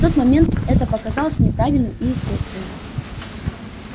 в тот момент это показалось мне правильным и естественным